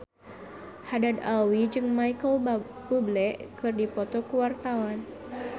Haddad Alwi jeung Micheal Bubble keur dipoto ku wartawan